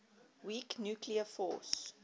weak nuclear force